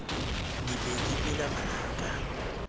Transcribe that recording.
di be di mela manaka